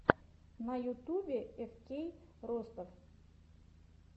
на ютубе эфкей ростов